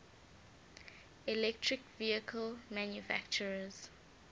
electric vehicle manufacturers